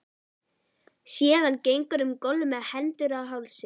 Sé að hann gengur um gólf með hendur á hálsi.